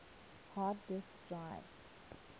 hard disk drives